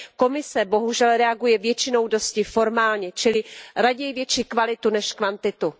Komise bohužel reaguje většinou dosti formálně, čili raději větší kvalitu než kvantitu.